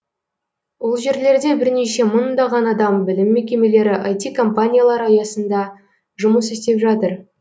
ол жерлерде бірнеше мыңдаған адам білім мекемелері іт компаниялар аясында жұмыс істеп жатыр